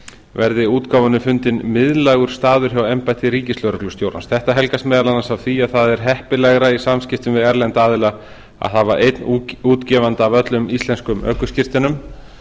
verði útgáfunni fundinn miðlægur staður hjá embætti ríkislögreglustjórans þetta helgast meðal annars af því að það er heppilegra í samskiptum við erlenda aðila að hafa einn útgefanda að öllum íslenskum ökuskírteinum